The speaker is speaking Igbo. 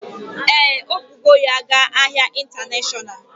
Ee, o bugo ya ga ahịa intanashonal